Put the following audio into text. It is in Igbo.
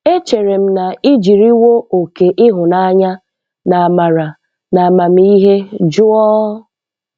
Echere m na i jiriwo oke ịhụnanya na amara na amamihe jụọ..